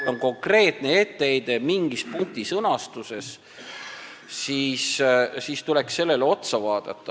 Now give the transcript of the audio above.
Kui on konkreetne etteheide mingi punkti sõnastuse kohta, siis tuleks sellele otsa vaadata.